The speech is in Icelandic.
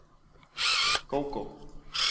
Gógó